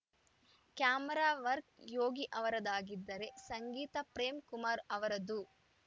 camera work Yogi ಅವರದ್ದಾಗಿದ್ದರೆ ಸಂಗೀತ ಪ್ರೇಮ್‌ ಕುಮಾರ್‌ ಅವರದ್ದು